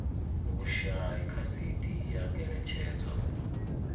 vhushai kha cd ya ngeletshedzo